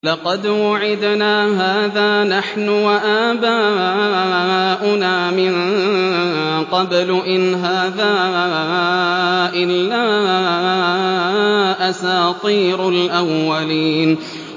لَقَدْ وُعِدْنَا هَٰذَا نَحْنُ وَآبَاؤُنَا مِن قَبْلُ إِنْ هَٰذَا إِلَّا أَسَاطِيرُ الْأَوَّلِينَ